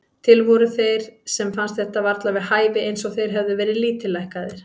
Til voru þeir sem fannst þetta varla við hæfi, eins og þeir hefðu verið lítillækkaðir.